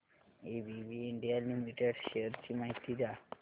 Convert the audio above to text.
ABB India limited shares ची माहिती द्या